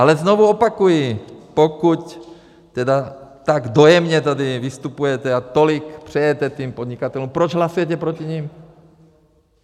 Ale znovu opakuji, pokud tedy tak dojemně tady vystupujete a tolik přejete těm podnikatelům, proč hlasujete proti nim?